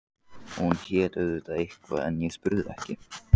Hún hét auðvitað eitthvað en ég spurði ekki.